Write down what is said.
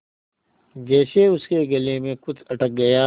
जैसे उसके गले में कुछ अटक गया